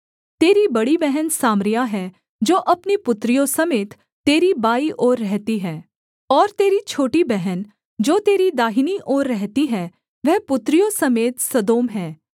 तेरी बड़ी बहन सामरिया है जो अपनी पुत्रियों समेत तेरी बाईं ओर रहती है और तेरी छोटी बहन जो तेरी दाहिनी ओर रहती है वह पुत्रियों समेत सदोम है